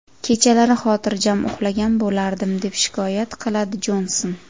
Kechalari xotirjam uxlagan bo‘lardim”, − deb shikoyat qiladi Jonson.